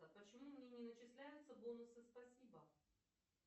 почему мне не начисляются бонусы спасибо